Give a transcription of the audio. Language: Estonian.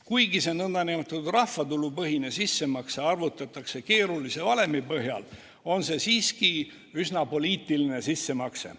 Kuigi see nn rahvatulupõhine sissemakse arvutatakse keerulise valemi põhjal, on see siiski üsna poliitiline sissemakse.